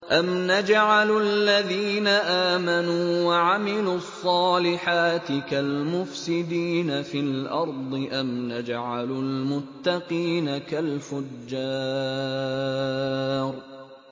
أَمْ نَجْعَلُ الَّذِينَ آمَنُوا وَعَمِلُوا الصَّالِحَاتِ كَالْمُفْسِدِينَ فِي الْأَرْضِ أَمْ نَجْعَلُ الْمُتَّقِينَ كَالْفُجَّارِ